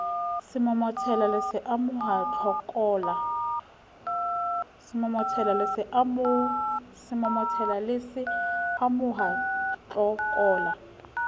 semomotela le se amoha tlokola